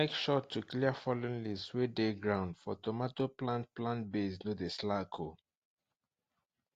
make sure to clear fallen leaves wey dey ground for tomato plant plant base no dey slack o